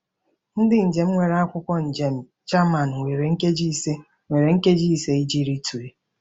Ndị njem nwere akwụkwọ njem German nwere nkeji ise nwere nkeji ise iji rịtuo.